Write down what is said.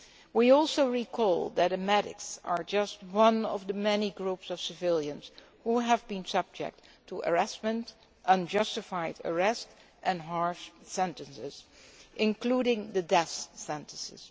We also recall that the medics are just one of the many groups of civilians who have been subject to harassment, unjustified arrest and harsh sentences, including the death sentence.